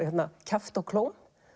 kjafti og klóm